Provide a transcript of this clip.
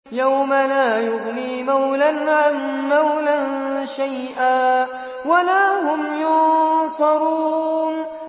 يَوْمَ لَا يُغْنِي مَوْلًى عَن مَّوْلًى شَيْئًا وَلَا هُمْ يُنصَرُونَ